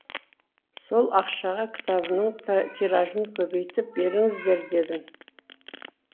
сол ақшаға кітабымның тиражын көбейтіп беріңіздер дедім